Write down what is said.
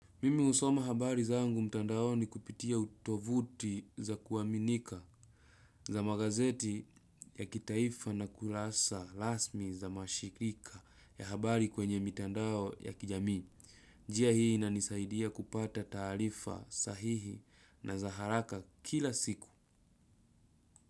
Mimi husoma habari zangu mtandao ni kupitia utovuti za kuaminika za magazeti ya kitaifa na kurasa rasmi za mashirika ya habari kwenye mitandao ya kijami. Njia hii na nisaidia kupata taarifa sahihi na za haraka kila siku.